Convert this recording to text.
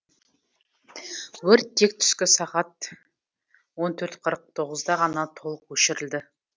өрт тек түскі сағат он төрт қырық тоғызда ғана толық өшірілді